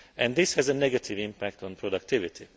This has a negative impact on productivity.